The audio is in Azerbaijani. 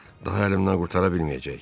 Daha əlimdən qurtara bilməyəcək.